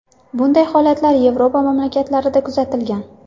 Bunday holatlar Yevropa mamlakatlarida kuzatilgan.